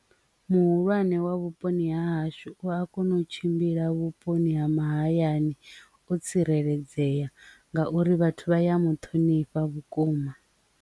Muhulwane wa vhuponi ha hashu u a kone u tshimbila vhuponi ha mahayani o tsireledzea ngauri vhathu vha ya muṱhonifha vhukuma.